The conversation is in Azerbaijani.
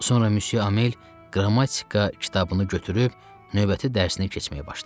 Sonra Müsyö Amel qrammatika kitabını götürüb növbəti dərsini keçməyə başladı.